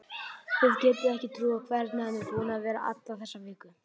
Þið getið ekki trúað hvernig hann er búinn að vera alla þessa viku.